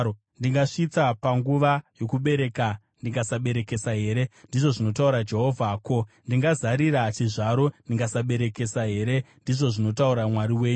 Ndingasvitsa panguva yokubereka ndikasaberekesa here?” ndizvo zvinotaura Jehovha. “Ko, ndinozarira chizvaro pandinoberekesa here?” ndizvo zvinotaura Mwari wenyu.